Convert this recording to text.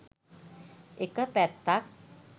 එක පැත්තක්.